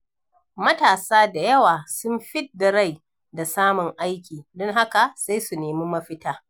Matasa da yawa sun fidda rai da samun aiki, don haka sai su nemi mafita.